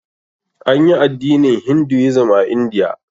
Anyi addinin Hinduism a Indiya.